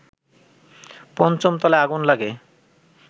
৫ম তলায় আগুন লাগে